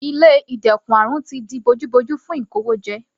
Ilé ìdẹ́kun àrùn ti di bojú bojú fún ìkówójẹ.